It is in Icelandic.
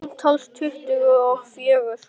Samtals tuttugu og fjögur.